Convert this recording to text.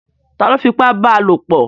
Ta ló fipá bá lopọ̀?